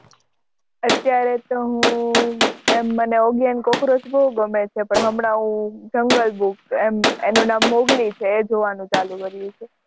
અત્યારે તો હું એમ મને ઓગી એંડ કોકરોચ બહુ ગમે છે. પણ હમણાં હું જંગલબૂક એમ એનું નામ મોગલી છે એ જોવાનું ચાલુ કર્યું છે.